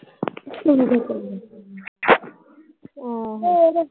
ਹੋਰ